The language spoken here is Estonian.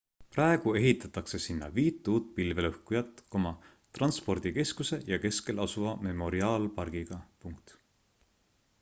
praegu ehitatakse sinna viit uut pilvelõhkujat transpordikeskuse ja keskel asuva memoriaalpargiga